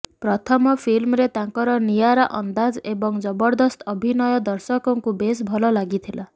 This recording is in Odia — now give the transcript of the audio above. ପ୍ରଥମ ଫିଲ୍ମରେ ତାଙ୍କର ନିଆରା ଅନ୍ଦାଜ୍ ଏବଂ ଜବରଦସ୍ତ ଅଭିନୟ ଦର୍ଶକଙ୍କୁ ବେଶ୍ ଭଲ ଲାଗିଥିଲା